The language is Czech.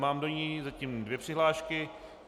Mám do ní zatím dvě přihlášky.